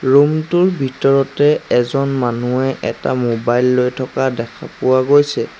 Room টোৰ ভিতৰতে এজন মানুহে এটা মোবাইল লৈ থকা দেখা পোৱা গৈছে।